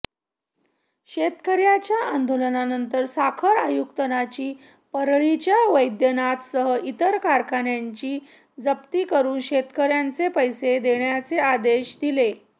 शेतकर्यांच्या आंदोलनानंतर साखर आयुक्तांनी परळीच्या वैद्यनाथसह इतर कारखान्यांची जप्ती करून शेतकर्यांचे पैसे देण्याचे आदेश दिले